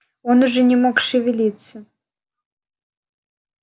он уже не мог шевелиться